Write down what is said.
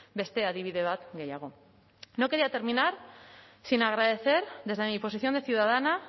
beste adibide bat gehiago no quería terminar sin agradecer desde mi posición de ciudadana